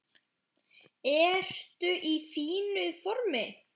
Ertu í fínu formi?